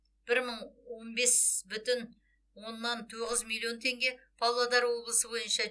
бір мың он бес бүтін оннан тоғыз миллион теңге павлодар облысы бойынша